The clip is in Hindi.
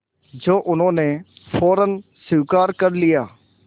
जो उन्होंने फ़ौरन स्वीकार कर लिया